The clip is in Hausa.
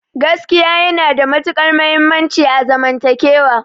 Gaskiya yana da matuƙar muhimmanci a zaman takewa